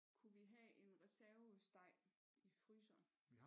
Kunne vi have en reservesteg i fryseren?